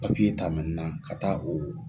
ta ka taa o